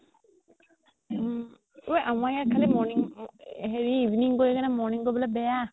উম ঐ আমাৰ ইয়াত খালি morning হেৰি evening কৰি পিনে morning কৰিবলে বেয়া